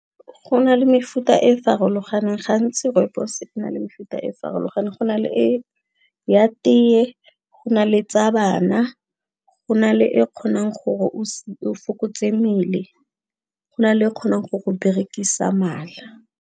Go na le mefuta e farologaneng gantsi rooibos-e na le mefuta e farologaneng go na le e ya teee go na le tsa bana go na le e kgonang gore o fokotse mmele go na le kgonang go go berekisa mala.